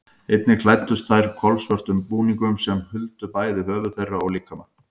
Einnig klæddust þær kolsvörtum búningum sem huldu bæði höfuð þeirra og líkama.